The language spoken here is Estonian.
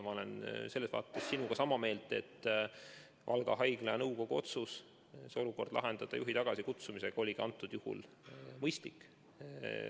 Ma olen sinuga sama meelt, et Valga Haigla nõukogu otsus lahendada olukord juhi tagasikutsumisega oli mõistlik.